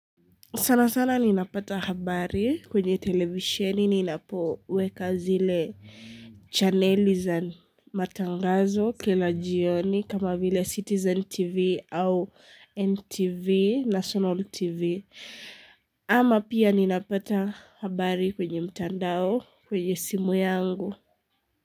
Sana sana ninapata habari kwenye televiseni ninapoweka zile channeli za matangazo kola jioni kama vile Citizen TV au NTV na National TV Ama pia ninapata habari kwenye mtandao kwenye simu yangu.